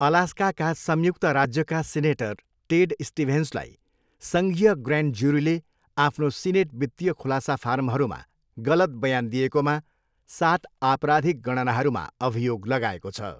अलास्काका संयुक्त राज्यका senator Ted स्टिभेन्सलाई सङ्घीय ग्रैन्ड जुरीले आफ्नो सिनेट वित्तीय खुलासा फारमहरूमा गलत बयान दिएकोमा सात आपराधिक गणनाहरूमा अभियोग लगाएको छ।